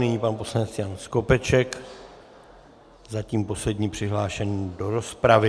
Nyní pan poslanec Jan Skopeček, zatím poslední přihlášený do rozpravy.